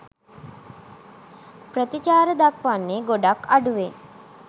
ප්‍රතිචාර දක්වන්නේ ගොඩක් අඩුවෙන්.